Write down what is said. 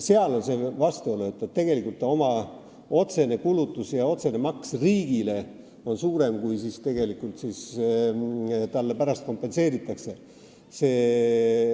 Seal on see vastuolu, et inimese oma otsene kulutus ja otsene maks riigile on suurem, kui talle tegelikult pärast kompenseeritakse.